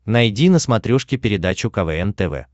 найди на смотрешке передачу квн тв